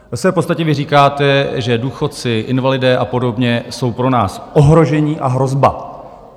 Ve své podstatě vy říkáte, že důchodci, invalidé a podobně jsou pro nás ohrožení a hrozba.